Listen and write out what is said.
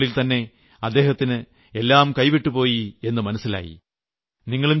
അല്പനിമിഷങ്ങൾക്കുളളിൽ തന്നെ അദ്ദേഹത്തിന് എല്ലാം കൈവിട്ടു പോയെന്ന് മനസ്സിലായി